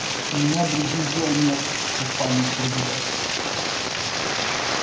у меня других дел нету как память проверять